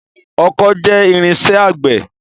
Ọkọ́ jẹ́ irinṣẹ́ àgbẹ̀.